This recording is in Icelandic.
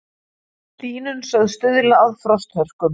Hlýnun sögð stuðla að frosthörkum